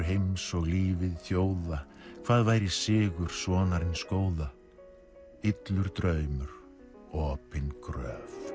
heims og lífið þjóða hvað væri sigur sonarins góða illur draumur opin gröf